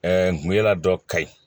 n kun ye la dɔ ka ye